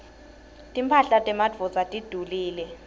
timphahla temadvodza tidulile